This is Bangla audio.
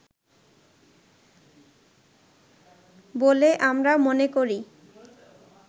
বলে আমরা মনে করি